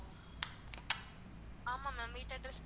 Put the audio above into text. ஆமா ma'am வீட்டு address